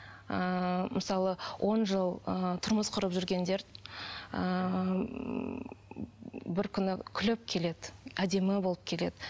ыыы мысалы он жыл ы тұрмыс құрып жүргендер ыыы бір күні күліп келеді әдемі болып келеді